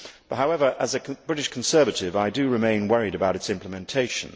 However, as a British Conservative, I do remain worried about its implementation.